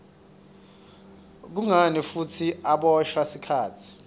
kungani futsi aboshwa sikhatsi